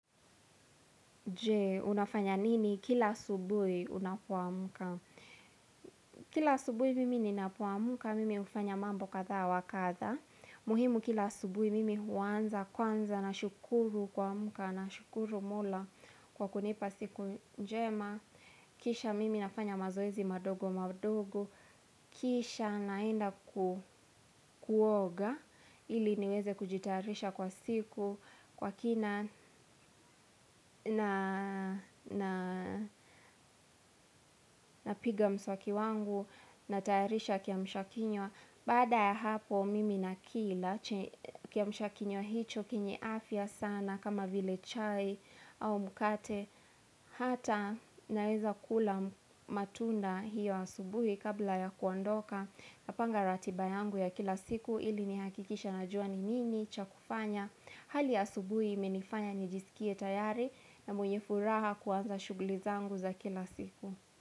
Je, unafanya nini kila asubuhi unapoamka? Kila asubuhi mimi ninapoamka, mimi hufanya mambo kadha wa kadha. Muhimu kila asubuhi mimi huanza, kwanza, nashukuru kuamka, nashukuru mola kwa kunipa siku njema. Kisha mimi nafanya mazoezi madogo madogo. Kisha naenda kuoga ili niweze kujitarisha kwa siku. Kwa kina napiga mswaki wangu. Natayarisha kiamsha kinywa. Baada ya hapo mimi nakila kiamsha kinywa hicho chenye afya sana kama vile chai au mkate. Hata naeza kula matunda hio asubuhi kabla ya kuondoka. Napanga ratiba yangu ya kila siku ili nihakikishe najua ni nini cha kufanya. Hali ya asubuhi imenifanya nijisikie tayari na mwenye furaha kuanza shughli zangu za kila siku.